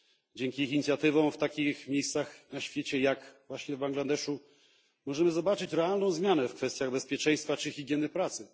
Dzięki ich inicjatywom w takich miejscach na świecie jak właśnie w Bangladeszu możemy zobaczyć realną zmianę w kwestiach bezpieczeństwa czy higieny pracy.